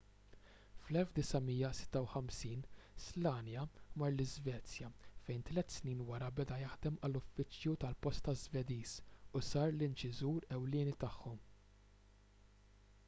fl-1956 słania mar l-iżvezja fejn tliet snin wara beda jaħdem għall-uffiċċju tal-posta żvediż u sar l-inċiżur ewlieni tagħhom